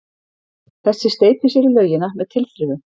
Þessi steypir sér í laugina með tilþrifum.